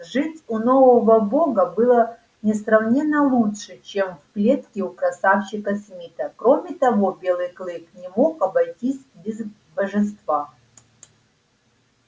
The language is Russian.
жить у нового бога было несравненно лучше чем в клетке у красавчика смита кроме того белый клык не мог обойтись без божества